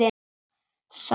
Sá rautt.